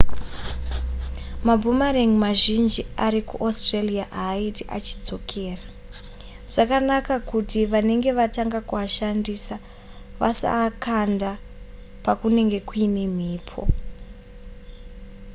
maboomerang mazhinji ari kuaustralia haaite achidzokera zvakanaka kuti vanenge vatanga kuashandisa vasaakanda pakunenge kuine mhepo